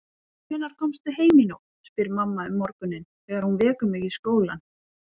Hvenær komstu heim í nótt, spyr mamma um morguninn þegar hún vekur mig í skólann.